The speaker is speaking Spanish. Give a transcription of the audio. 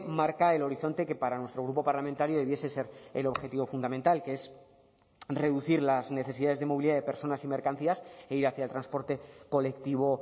marca el horizonte que para nuestro grupo parlamentario debiese ser el objetivo fundamental que es reducir las necesidades de movilidad de personas y mercancías e ir hacia el transporte colectivo